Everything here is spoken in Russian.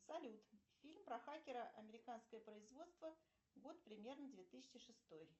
салют фильм про хакера американское производство год примерно две тысячи шестой